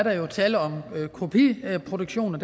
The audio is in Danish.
er tale om kopiproduktion